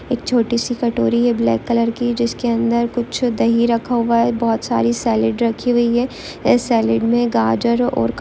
एक छोटी सी कटोरी है ब्लैक कलर की जिसके अंदर कुछ दही रखा हुआ है बहुत सारी सैलेड रखी हुई है इस सैलेड में गाजर और--